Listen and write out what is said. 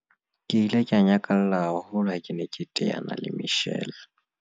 Ke ile ka nyakalla haholo ha ke ne ke teana le Michelle